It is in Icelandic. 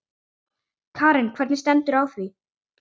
Karen: Hvernig stendur á því?